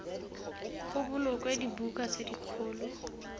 go bolokwe dibuka tse dikgolo